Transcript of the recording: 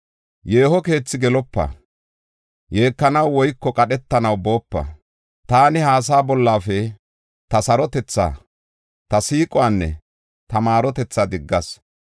“Yeeho keethi gelopa; yeekanaw woyko qadhetanaw boopa. Taani ha asaa bollafe ta sarotethaa, ta siiquwanne ta maarotethaa diggas.